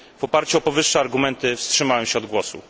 W oparciu o powyższe argumenty wstrzymałem się od głosu.